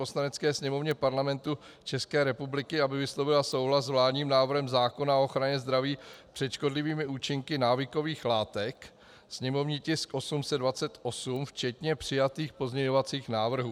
Poslanecké sněmovně Parlamentu České republiky, aby vyslovila souhlas s vládním návrhem zákona o ochraně zdraví před škodlivými účinky návykových látek, sněmovní tisk 828, včetně přijatých pozměňovacích návrhů.